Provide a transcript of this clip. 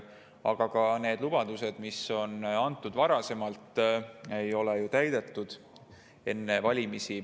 Aga ka neid lubadusi, mis on antud varem, enne valimisi, ei ole ju täidetud.